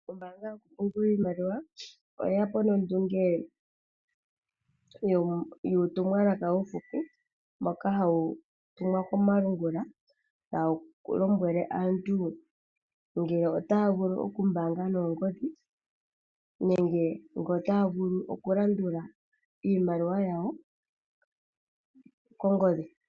Ombaanga yo ku pungula Iimaliwa oyeyapo nondunge yuutumwalaka uuhupi mboka hawu tumwa komalungula tawu lombwele aantu ngele otaya vulu okupungula noongodhi nenge ngele ota ya vulu oku landula iimaliwa yawo kongodhi.